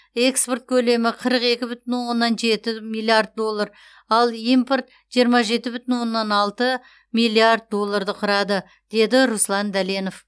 экспорт көлемі қырық екі бүтін оннан жеті миллиард доллар ал импорт жиырма жеті бүтін оннан алты миллиард долларды құрады деді руслан дәленов